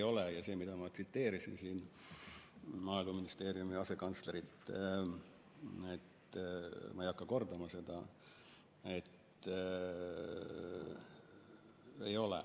Ma juba tsiteerisin siin Maaeluministeeriumi asekantslerit, ma ei hakka kordama seda.